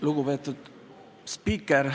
Lugupeetud spiiker!